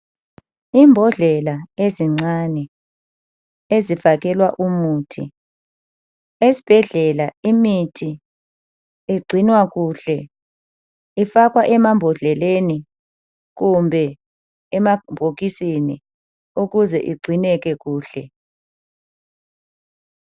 Imbodlela ezincane ezifakelwa umuthi, esibhedlela imithi igcinwa kuhle ifakwa emambodleleni kumbe emabhokisini ukuze igcineke kuhle.